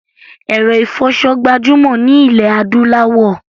Èro ìfoso gbajúmò ni ilẹ̀ adúláwò